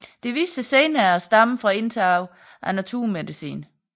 Det viste sig senere at stamme fra indtag af naturmedicin